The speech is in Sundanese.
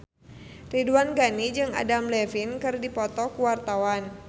Ridwan Ghani jeung Adam Levine keur dipoto ku wartawan